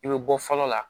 I bɛ bɔ fɔlɔ la